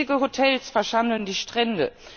Riesige Hotels verschandeln die Strände.